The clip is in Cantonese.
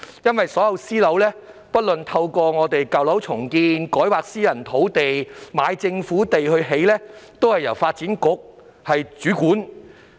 所有私樓，包括透過舊樓重建、改劃私人土地及購買政府土地興建的項目，均由發展局主管。